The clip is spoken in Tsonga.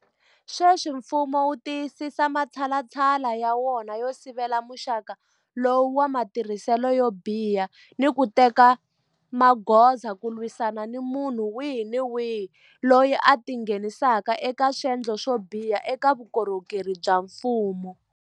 Sweswi mfumo wu tiyisisa matshalatshala ya wona yo sivela muxaka lowu wa matirhiselo yo biha ni ku teka magoza ku lwisana ni munhu wihi ni wihi loyi a tingheni saka eka swendlo swo biha eka vukorhokeri bya mfumo.